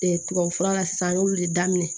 tubabufura la sisan n y'olu de daminɛ